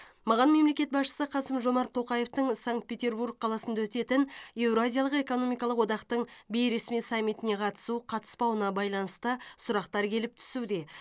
маған мемлекет басшысы қасым жомарт тоқаевтың санкт петербург қаласында өтетін еуразиялық экономикалық одақтың бейресми саммитіне қатысу қатыспауына байланысты сұрақтар келіп түсуде